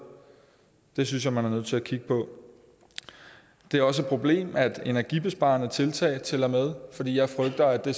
det synes jeg man er nødt til at kigge på det er også et problem at energibesparende tiltag tæller med fordi jeg frygter at det